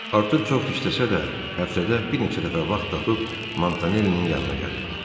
Artur çox işləsə də, həftədə bir neçə dəfə vaxt tapıb Montanellinin yanına gəlirdi.